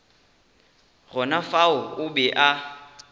gona fao o be a